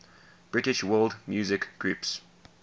british world music groups